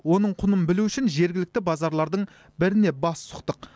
оның құнын білу үшін жергілікті базарлардың біріне бас сұқтық